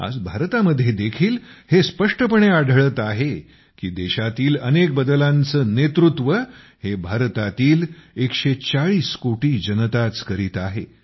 आज भारतामध्ये देखील हे स्पष्टपणे आढळते आहे की देशातील अनेक बदलांचे नेतृत्व हे भारतातील 140 कोटी जनताच करीत आहे